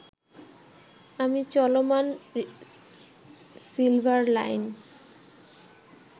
আমি চলমান silver line